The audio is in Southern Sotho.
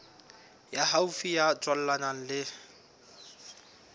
ya haufi ya tswalanang le